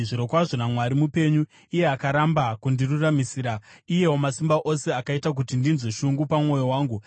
“Zvirokwazvo naMwari mupenyu, iye akaramba kundiruramisira, iye Wamasimba Ose, akaita kuti ndinzwe shungu pamwoyo wangu,